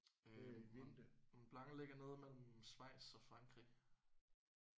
Øh Mont Mont Blanc ligger nede mellem Schweiz og Frankrig